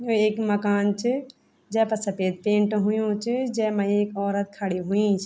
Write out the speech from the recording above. यु एक मकान च जैपर सपेद पेंट हुयुं च जैमा एक औरत खड़ीं हुईं च।